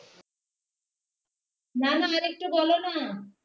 না না আরেকটু বোলো না